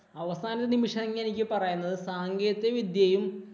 അവസാന നിമിഷം ഇങ്ങു എനിക്ക് പറയാനുള്ളത് സാങ്കേതിക വിദ്യയും